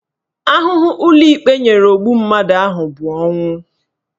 Ahụhụ ụlọikpe nyere ogbu mmadụ ahụ bụ ọnwụ